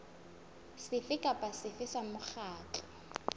sefe kapa sefe sa mokgatlo